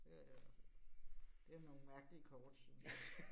Øh det nogle mærkelige kort synes jeg